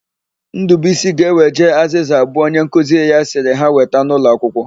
Ndụbuisi ga-eweje azịza abụọ onyenkuzi ya sịrị ha weta n'ụlọakwụkwọ.